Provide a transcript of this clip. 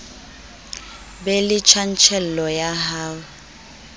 be le tjantjello ya ho